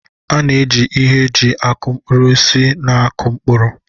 A na-eji ihe eji aku mkpụrụ osisi na-akụ mkpụrụ.